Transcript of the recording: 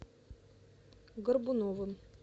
горбуновым